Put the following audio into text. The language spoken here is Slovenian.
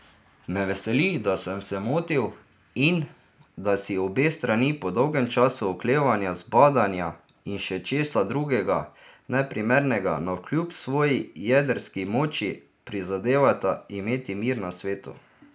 Me veseli, da sem se motil, in, da si obe strani po dolgem času oklevanja, zbadanja, in še česa drugega neprimernega, navkljub svoji jedrski moči, prizadevata imeti mir na svetu.